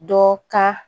Dɔ ka